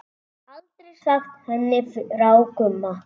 Aldrei sagt henni frá Gumma.